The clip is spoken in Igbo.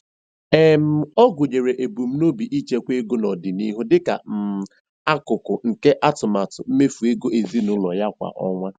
um Ọ gụnyere ebumnobi ichekwa ego n'ọdịnihu dịka um akụkụ nke atụmatụ mmefu ego ezinụlọ ya kwa ọnwa.